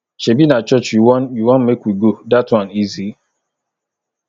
shebi na church you wan you wan make we go dat one easy